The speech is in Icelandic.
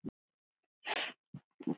Hver er framtíð mín?